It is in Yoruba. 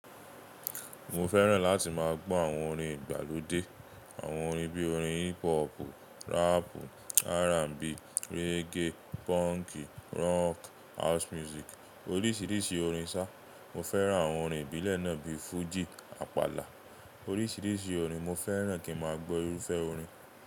Mo fẹ́ràn láti máa gbọ́ àwọn orin ìgbàlódé. Àwọn orin bí i orin hip hopu, rapu, R&B, reggae, punki, rock, house music. Oríṣiríṣi orin sá. Mo fẹ́ràn àwọn orin ìbílẹ̀ náà bi fuji, apala. Oríṣiríṣi orin mo fẹ́ràn kí n máa gbọ́ irúfẹ́ orin.